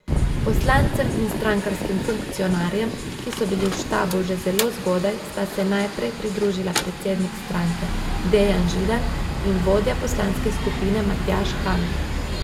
Poslancem in strankarskim funkcionarjem, ki so bili v štabu že zelo zgodaj, sta se najprej pridružila predsednik stranke Dejan Židan in vodja poslanske skupine Matjaž Han.